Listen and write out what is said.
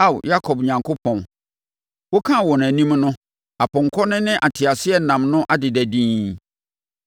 Ao Yakob Onyankopɔn, wokaa wɔn anim no apɔnkɔ no ne nteaseɛnam no adeda dinn.